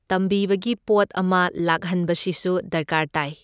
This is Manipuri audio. ꯇꯝꯕꯤꯕꯒꯤ ꯄꯣꯠ ꯑꯃ ꯂꯥꯛꯍꯟꯕꯁꯤꯁꯨ ꯗꯔꯀꯥꯔ ꯇꯥꯏ꯫